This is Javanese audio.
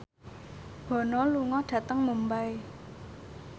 Bono lunga dhateng Mumbai